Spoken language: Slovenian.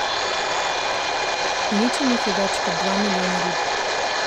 Uničenih je več kot dva milijona rib.